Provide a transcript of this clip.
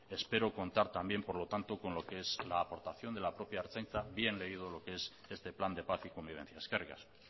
espero contar también por lo tanto con lo que es la aportación de la propia ertzaintza bien leído lo que es este plan de paz y convivencia eskerrik asko